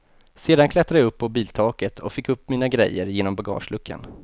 Sedan klättrade jag upp på biltaket och fick upp mina grejer genom bagageluckan.